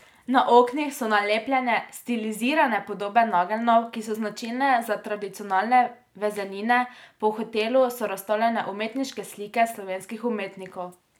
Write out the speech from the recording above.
Na oknih so nalepljene stilizirane podobe nageljnov, ki so značilne za tradicionalne vezenine, po hotelu so razstavljene umetniške slike slovenskih umetnikov.